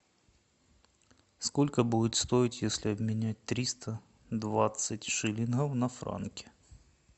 сколько будет стоить если обменять триста двадцать шиллингов на франки